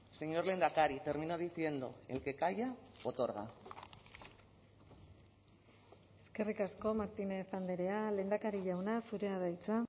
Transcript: señor lehendakari termino diciendo el que calla otorga eskerrik asko martínez andrea lehendakari jauna zurea da hitza